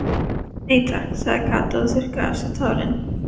Nei takk sagði Kata og þurrkaði af sér tárin.